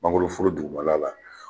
Mangoroforo dugumala la